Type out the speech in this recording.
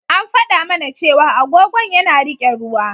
An faɗa mana cewa agogon yana riƙe ruwa.